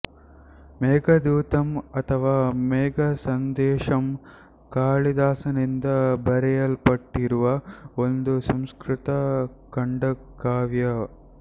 ಮೇಘದೂತಮ್ ಅಥವಾ ಮೇಘಸಂದೇಶಮ್ ಕಾಳಿದಾಸನಿಂದ ಬರೆಯಲ್ಪಟ್ಟಿರುವ ಒಂದು ಸಂಸ್ಕೃತ ಖಂಡಕಾವ್ಯ